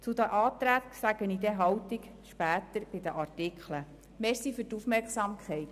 Zu den Anträgen äussere ich mich dann später bei den einzelnen Artikeln.